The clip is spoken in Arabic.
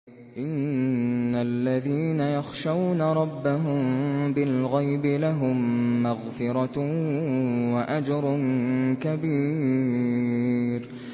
إِنَّ الَّذِينَ يَخْشَوْنَ رَبَّهُم بِالْغَيْبِ لَهُم مَّغْفِرَةٌ وَأَجْرٌ كَبِيرٌ